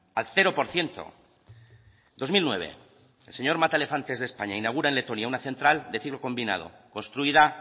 al cero por ciento dos mil nueve el señor mataelefantes de españa inaugura en letonia una central de ciclo combinado construida